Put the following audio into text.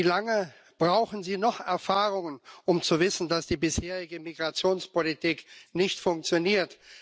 Wie lange brauchen Sie noch Erfahrungen, um zu wissen, dass die bisherige Migrationspolitik nicht funktioniert?